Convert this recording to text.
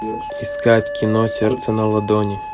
искать кино сердце на ладони